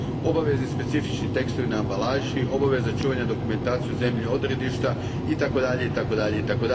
obavezni specifični tekstovi na ambalaži, obaveza čuvanja dokumentacije u zemlji odredišta itd.